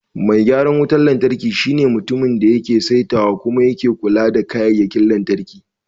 Mai gyaran wutar lantarki shine mutumin da yake saitawa kuma yake kula da kayayyakin lantarki.